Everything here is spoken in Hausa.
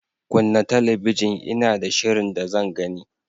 Kunna talabijin Ina da shirin da zan gani.